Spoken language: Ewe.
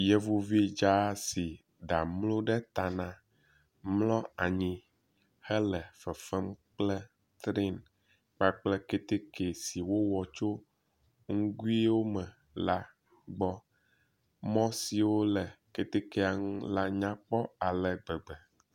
Yevuvi dza si ɖa mlo ɖe ta na mlɔ anyi hele fefem kple tren kpakple keteke si wowɔ tso ŋguiwo me la gbɔ. Mɔ siwo le ketekea ŋu la nykpɔ ale gbegbe.